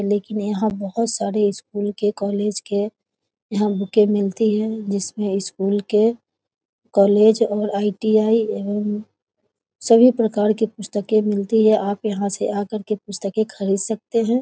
देखने यहाँ बहुत सारे स्कूल के कॉलेज के यहाँ बूके मिलती है जिसमे स्कूल के कॉलेज और आई.टी.आई एवं सभी प्रकार के पुस्तके मिलती है आप यहाँ से आ कर के पुस्तके खरीद सकते है ।